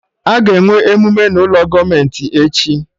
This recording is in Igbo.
Aga enwe emume n'ụlọ gọọmenti echi